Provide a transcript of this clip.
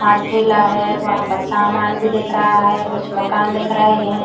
आ ठेला है। वहां पर सामान भी दिख रहा है। कुछ मकान दिख रहे हैं।